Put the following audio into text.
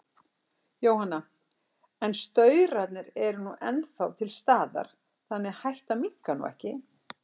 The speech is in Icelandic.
Jóhanna: En staurarnir eru nú ennþá til staðar, þannig að hættan minnkar nú ekki?